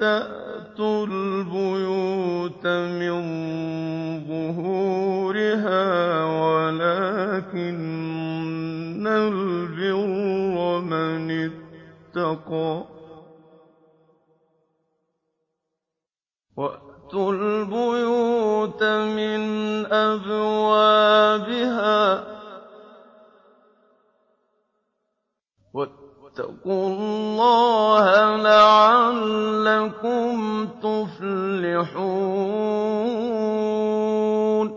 تَأْتُوا الْبُيُوتَ مِن ظُهُورِهَا وَلَٰكِنَّ الْبِرَّ مَنِ اتَّقَىٰ ۗ وَأْتُوا الْبُيُوتَ مِنْ أَبْوَابِهَا ۚ وَاتَّقُوا اللَّهَ لَعَلَّكُمْ تُفْلِحُونَ